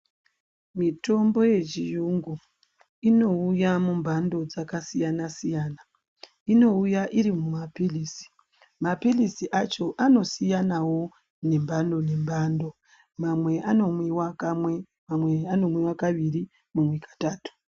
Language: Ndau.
Mitombo yechiyungu inouya mumhando dzakasiyana siyana inouya irimumapirizi mapirizi acho anosiyanawo nemhando nemhando mamwe anomwiwa kamwe mamwe kaviri mamwe katatu ..